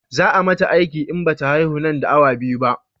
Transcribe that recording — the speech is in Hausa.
Za a mata aiki in bata haihu nan da awa biyu ba